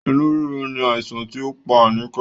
Inú rírun ni àìsàn ti o pá Anike